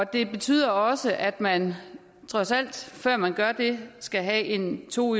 det betyder også at man trods alt før man gør det skal have en to